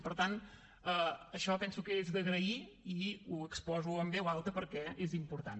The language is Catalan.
i per tant això penso que és d’agrair i ho exposo en veu alta perquè és important